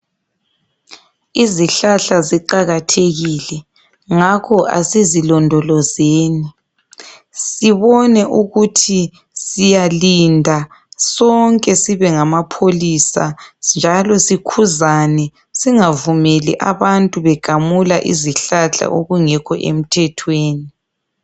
Izihlahla ziqakathekile ngakho asizilondolozeni sibone ukuthi siyalinda sonke sibe ngamapholisa njalo sikhuzane singavumeli abantu begamula izihlahla okungekho emthethweni.